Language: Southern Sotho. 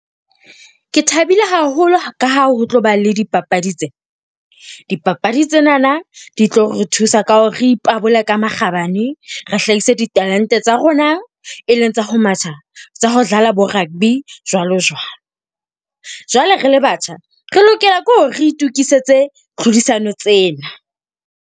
Ke thabile haholo ka ha ho tlo ba le dipapadi tse. Dipapadi tsenana di tlo re thusa ka ho re ipabola ka makgabane, re hlahise ditalente tsa rona. E leng tsa ho matha, tsa ho dlala bo rugby, jwalo jwalo. Jwale re le batjha, re lokela ke hore re itukisetse tlhodisano tsena.